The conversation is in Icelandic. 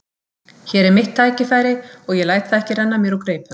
Hér er mitt tækifæri og ég læt það ekki renna mér úr greipum.